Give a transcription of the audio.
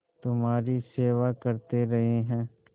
तुम्हारी सेवा करते रहे हैं